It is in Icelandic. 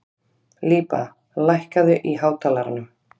Líba, lækkaðu í hátalaranum.